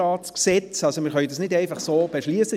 Das können wir nicht einfach so beschliessen.